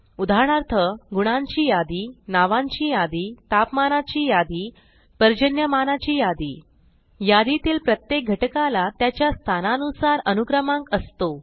उदाहरणार्थ गुणांची यादी नावांची यादी तापमानाची यादी पर्जन्यमानाची यादी यादीतील प्रत्येक घटकाला त्याच्या स्थानानुसार अनुक्रमांक असतो